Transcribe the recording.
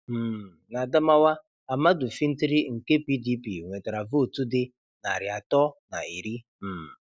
um N' Adamawa Ahmadu Fintiri nke PDP nwetara Vootu dị narị atọ na iri. um